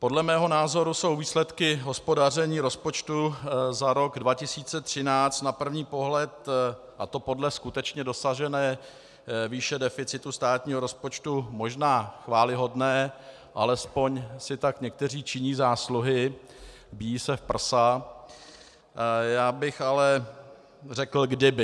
Podle mého názoru jsou výsledky hospodaření rozpočtu za rok 2013 na první pohled, a to podle skutečně dosažené výše deficitu státního rozpočtu, možná chvályhodné, alespoň si tak někteří činí zásluhy, bijí se v prsa - já bych ale řekl kdyby.